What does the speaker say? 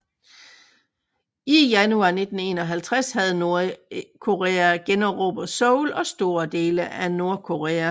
I januar 1951 havde Nordkorea generobret Seoul og store dele af Nordkorea